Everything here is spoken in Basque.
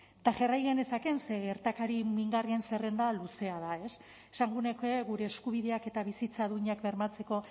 eta jarrai nezakeen ze gertakari mingarrien zerrenda luzea da esango nuke gure eskubideak eta bizitza duinak bermatzeko